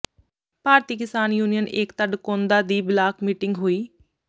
ਭਾਰਤੀ Kisan Union Ekta Dakaunda ਦੀ block meeting ਹੋਈ